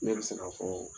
Ne bɛ se k'a fɔ